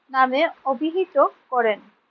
নামে অভিহিত করেন।